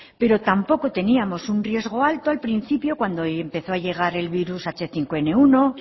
pero tampoco teníamos un riesgo alto al principio cuando empezó a llegar el virus hache cinco ene uno